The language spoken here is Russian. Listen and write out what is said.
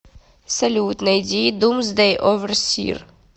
салют найди думсдэй оверсир